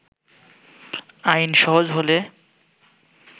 আইন সহজ হলে